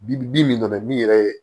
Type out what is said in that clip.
Bi bi min nana n'i yɛrɛ ye